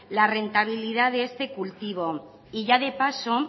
la rentabilidad de este cultivo y ya de paso